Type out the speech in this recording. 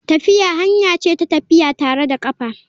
Tafiya hanya ce ta tafiya tare da kafa.